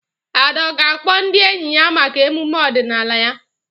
Ada ọ̀ ga-akpọ ndị enyi ya maka emume ọdịnala ya?